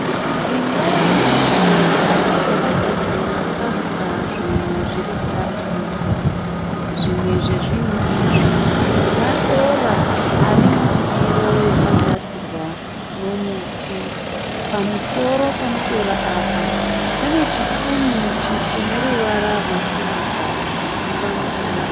Imba yokubikira, yakagadzikwa patafura zvinhu zviri kuda kubikwa. Zvimwe zve zvinhu izvi madora ari mundiro yakagadzirwa nomuti . Pamusoro pemadora apa pane chipunu chene ruvara rwesirivha chiri pamusoro .